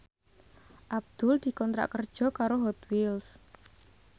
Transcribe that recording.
Abdul dikontrak kerja karo Hot Wheels